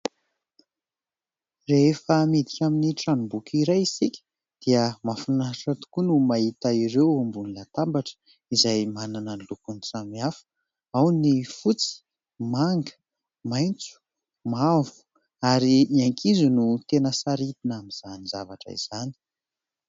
Rehefa miditra amin'ny tranom-boky iray isika dia mahafinaritra tokoa no mahita ireo ao ambony latabatra izay manana ny lokony samihafa. Ao ny fotsy, manga, maitso, mavo ary ny ankizy no tena sarihina amin'izany zavatra izany.